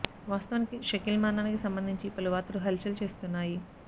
వాస్తవానికి షకీల్ మరణానికి సంబంధించి పలు వార్తలు హల్ చల్ చేస్తున్నాయి